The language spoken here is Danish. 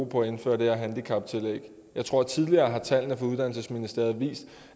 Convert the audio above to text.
på at indføre det her handicaptillæg jeg tror at tidligere har tallene fra uddannelsesministeriet vist